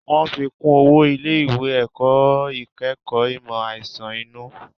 Wọ́n fi kún owó ilé ìwé ẹ̀kọ́ ìkẹ́kọ̀ọ́ ìmọ̀ àìsàn inú